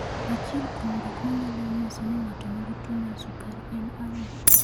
Achiel kuom gik manyalo nyiso ni ng'ato nigi tuwo mar sukari en ang'o?